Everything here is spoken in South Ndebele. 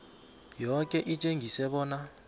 yoke litjengise bona